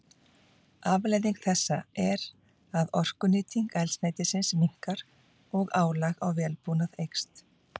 Afleiðing þessa er að orkunýting eldsneytisins minnkar og álag á vélbúnað eykst.